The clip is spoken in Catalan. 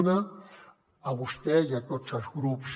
un a vostè i a tots els grups